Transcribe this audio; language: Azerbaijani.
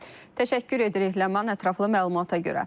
Təşəkkür edirik Ləman, ətraflı məlumata görə.